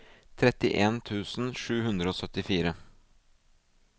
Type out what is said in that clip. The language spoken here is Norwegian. trettien tusen sju hundre og syttifire